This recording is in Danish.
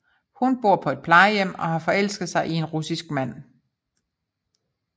Hun bor på et plejehjem og har forelsket sig i en russisk mand